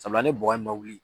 Sabula ne bɔgɔ in ma wuli